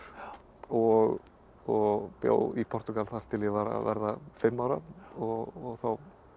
og og bjó í Portúgal þar til ég var að verða fimm ára og þá